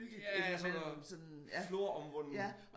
Ja og sådan noget floromvunden